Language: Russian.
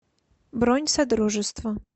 бронь содружество